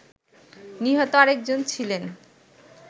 নিহত আরেকজন ছিলেন